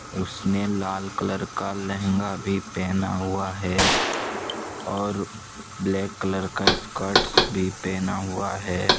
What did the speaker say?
उसने लाल कलर का लहंगा भी पहना हुआ है और ब्लैक कलर का स्कर्टस भी पहना हुआ है।